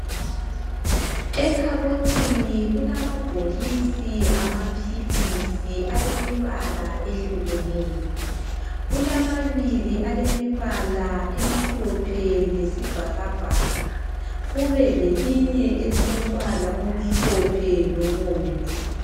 Ekhabothini kulamabhokisi amaphilisi alemibala ehlukeneyo .Kulamabili alemibala emhlophe lesibhakabhaka. Kube lelinye elilombala omhlophe lobomvu.